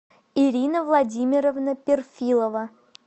ирина владимировна перфилова